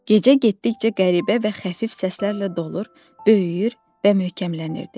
Gecə getdikcə qəribə və xəfif səslərlə dolur, böyüyür və möhkəmlənirdi.